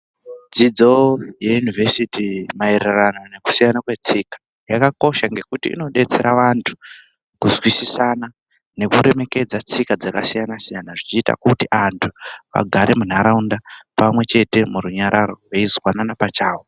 Dzidzo yeyunivhesiti maererano nekusiyana kwetsika. Yakakosha ngekuti inobetsera vantu kuzwisisana nekuremekedza tsika dzakasiyana-siyana, zvichiita kuti antu agare muntaraunda pamwe chete murunyararo veizwanana pachavo.